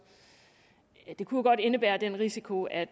vil kunne indebære den risiko at